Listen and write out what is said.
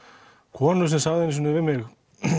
konu sem sagði einu sinni við mig